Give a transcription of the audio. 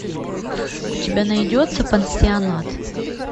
у тебя найдется пансионат